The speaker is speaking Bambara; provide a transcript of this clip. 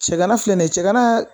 Sɛgɛn gana filɛ nin ye cɛgana